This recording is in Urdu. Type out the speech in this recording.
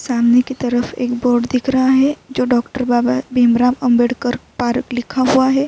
سامنے کی طرف ایک بورڈ دیکھ رہا ہے۔ جو ڈاکٹر بابا بھیمراؤ امبیدکر پارک لکھا ہوا ہے۔